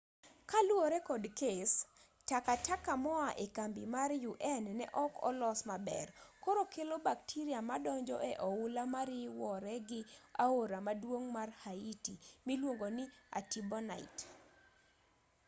kaluwore kod kes takataka moa e kambi mar un neok olos maber koro kelo bacteria madonjo e oula mariwore gi aora maduong' mar haiti miluongo ni artibonite